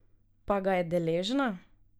Pa ga je deležna?